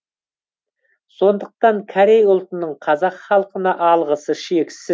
сондықтан корей ұлтының қазақ халқына алғысы шексіз